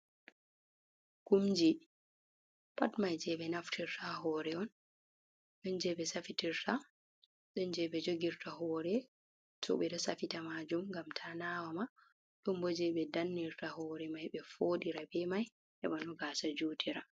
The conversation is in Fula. Kuumji pat mai je be naftirta ha hore on, ɗon je be safitirta, ɗon je ɓe jogirta hore to ɓe ɗo safita majuum gam ta nawama, don bo je ɓe dannirta hore mai, ɓe fodira be mai heɓa no gaasa jutira.